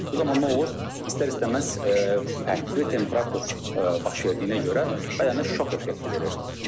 Bu zaman nə olur, istər-istəməz fərqli temperatur baş verdiyinə görə bədənə şok effekti verir.